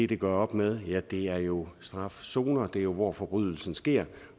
det gør op med er jo strafzoner der hvor forbrydelsen sker